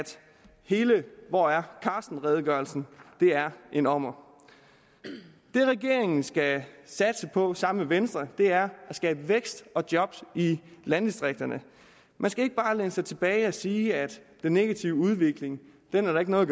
hele hvor er carsten redegørelsen er en ommer det regeringen skal satse på sammen med venstre er at skabe vækst og job i landdistrikterne man skal ikke bare læne sig tilbage og sige at den negative udvikling er der ikke noget